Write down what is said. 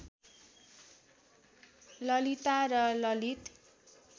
ललिता र ललित